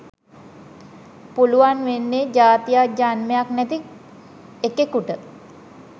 පුළුවන් වෙන්නේ ජාතියක් ජන්මයක් නැති එකෙකුට